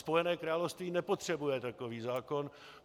Spojené království nepotřebuje takový zákon.